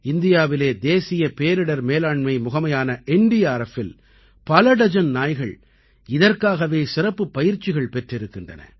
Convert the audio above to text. இந்தியாவிலே தேசிய பேரிடர் மேலாண்மை முகமையான NDRFஇல் பல டஜன் நாய்கள் இதற்காகவே சிறப்புப் பயிற்சிகள் பெற்றிருக்கின்றன